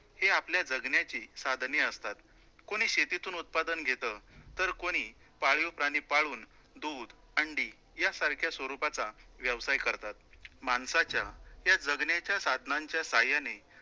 हे आपल्या जगण्याचे साधने असतात, कुणी शेतीतून उत्पादन घेतं, तर कोणी पाळीव प्राणी पाळून दूध, अंडी यासारख्या स्वरूपाचा व्यवसाय करतात. माणसाच्या या जगण्याच्या साधानांच्या साह्याने